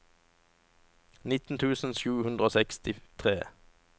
nitten tusen sju hundre og sekstitre